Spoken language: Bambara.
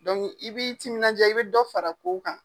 i b'i timinandiya i be dɔ fara kow kan.